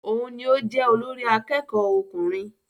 Òun ní o jẹ olórí àkẹ́kọ̀ọ ọkùnrin.